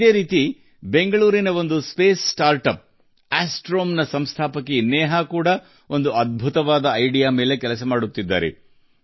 ಅದೇ ರೀತಿ ಬೆಂಗಳೂರಿನಲ್ಲಿರುವ ಬಾಹ್ಯಾಕಾಶ ನವೋದ್ಯಮ ಆಸ್ಟ್ರೋಮ್ ನ ಸಂಸ್ಥಾಪಕಿ ನೇಹಾ ಕೂಡ ಅದ್ಭುತ ಐಡಿಯಾದಲ್ಲಿ ಕೆಲಸ ಮಾಡುತ್ತಿದ್ದಾರೆ